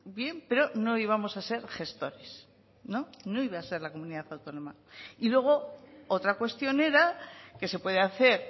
bien pero no íbamos a ser gestores no iba a ser la comunidad autónoma y luego otra cuestión era que se puede hacer